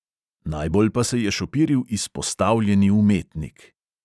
Najbolj pa se je šopiril izpostavljeni umetnik.